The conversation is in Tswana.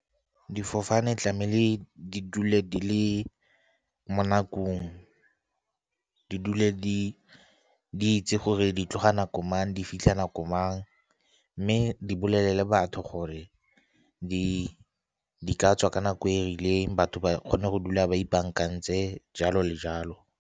Difofane tlamehile di dule di le mo nakong, di dule di itse gore di tloga nako mang, di fitlha nako gore mang, mme di bolelele batho gore di ka tswa ka nako e rileng, batho ba kgone go dula ba ipaakantse jalo le jalo.